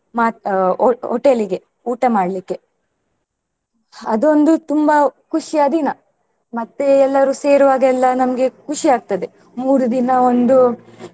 ಮತ್ತ್ ಆ hotel ಇಗೆ ಊಟ ಮಾಡ್ಲಿಕೆ ಅದು ಒಂದು ತುಂಬಾ ಖುಷಿಯ ದಿನ ಮತ್ತೆ ಎಲ್ಲರೂ ಸೇರುವಾಗ ಎಲ್ಲ ನಮ್ಗೆ ಖುಷಿ ಆಗ್ತದೆ ಮೂರು ದಿನ ಒಂದು.